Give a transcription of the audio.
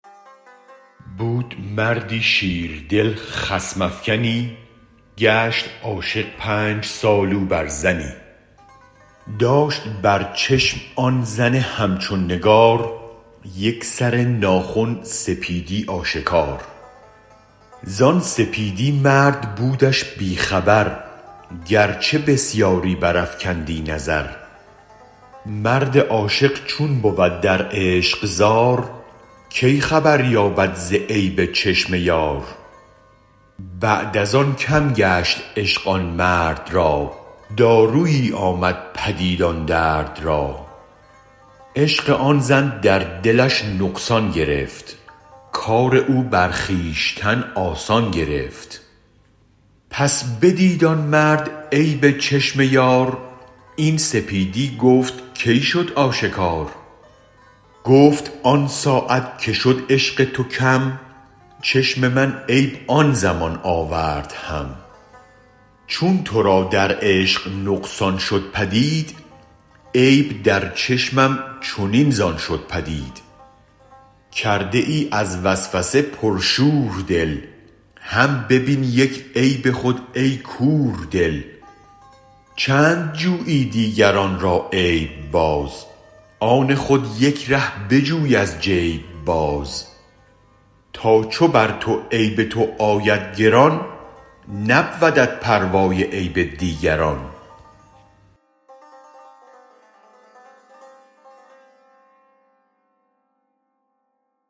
بود مردی شیردل خصم افکنی گشت عاشق پنج سال او بر زنی داشت بر چشم آن زن همچون نگار یک سر ناخن سپیدی آشکار زان سپیدی مرد بودش بی خبر گرچه بسیاری برافکندی نظر مرد عاشق چون بود در عشق زار کی خبر یابد ز عیب چشم یار بعد از آن کم گشت عشق آن مرد را دارویی آمد پدید آن درد را عشق آن زن در دلش نقصان گرفت کار او برخویشتن آسان گرفت پس بدید آن مرد عیب چشم یار این سپیدی گفت کی شد آشکار گفت آن ساعت که شد عشق تو کم چشم من عیب آن زمان آورد هم چون ترا در عشق نقصان شد پدید عیب در چشمم چنین زان شد پدید کرده ای از وسوسه پر شور دل هم ببین یک عیب خود ای کور دل چند جویی دیگران را عیب باز آن خود یک ره بجوی از جیب باز تا چو بر تو عیب تو آید گران نبودت پروای عیب دیگران